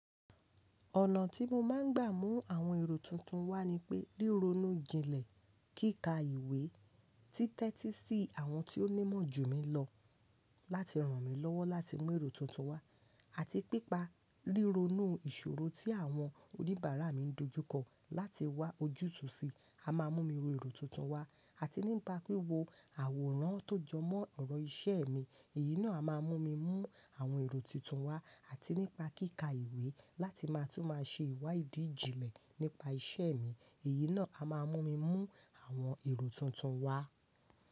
Ọ̀nà tí mo máa ń gbà mú àwọn èrò tuntun wá ni pé, ríronú jinlẹ̀, kíkà ìwé, títẹ́tí sí àwọn tí ó nímọ̀ jù mí lọ láti ràn mí lọ́wọ́ láti mú èrò tuntun wá àti pípa ríronú ìṣòro tí àwọn oníbàárà mi ń dojúkọ láti wá ojútùú sí á máa mú mi ro èrò tuntun wá àti nípa wíwo àwòrán tó jọmọ́ ọ̀rọ̀ iṣẹ́ mi, èyí náà a máa mú mi mú àwọn èrò tuntun wá àti nípa kíkà ìwé láti máa tún máa ṣe ìwà ìdí ijinlẹ̀ nípa iṣẹ́ mi, èyí náà a máa mú mi mú àwọn èrò tuntun wá.